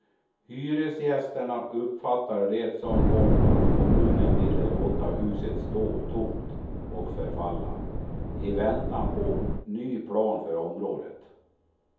Hyresgästerna uppfattade det som att kommunen ville låta huset stå tomt och förfalla, i väntan på ny plan för området.